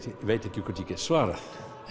ég veit ekki hvort ég get svarað